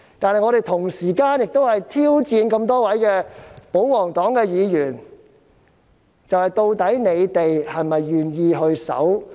但是，我們同時也在挑戰多位保皇黨議員，究竟他們是否願意遵守遊戲規則呢？